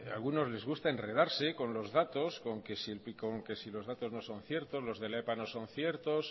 a algunos les gusta enredarse con los datos con que si el picón que si que los datos no son ciertos los de la epa no son ciertos